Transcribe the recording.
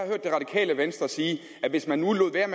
har venstre sige at hvis man nu lod være